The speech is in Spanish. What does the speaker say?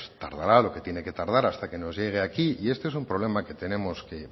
tardará lo que tiene que tardar hasta que nos llegue aquí y este es un problema que tenemos